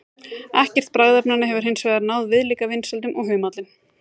Ekkert bragðefnanna hefur hins vegar náð viðlíka vinsældum og humallinn.